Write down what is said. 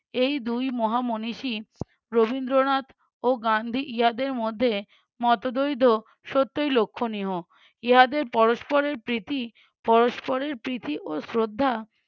এই দুই মহা মনীষী রবীন্দ্রনাথ ও গান্ধী ইহাদের মধ্যে মতদ্বৈধ সত্যই লক্ষণীয়। ইহাদের পরস্পরের প্রীতি পরস্পরের প্রীতি ও শ্রদ্ধা